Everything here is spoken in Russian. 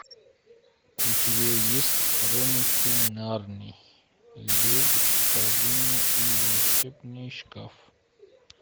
у тебя есть хроники нарнии лев колдунья и волшебный шкаф